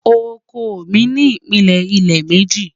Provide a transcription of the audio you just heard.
Ọkọ mi ni ìpílẹ ilẹ̀ mẹ́jì